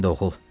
Sən də oğul.